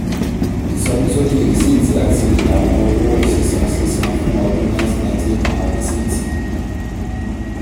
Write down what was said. ìsọníṣókí rìsíìtì àti àwọn owó sísan sísan fún um ọdún nineteen ninety eight àwọn rìsíìtì.